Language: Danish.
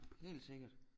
Helt sikkert